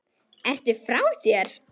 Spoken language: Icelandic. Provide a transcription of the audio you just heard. Ertu frá þér!?